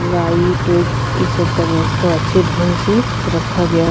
light उईट इ सब का व्यवस्था अच्छे ढंग से रखा गया --